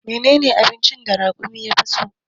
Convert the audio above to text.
Menene abincin da raƙumi ya fi so?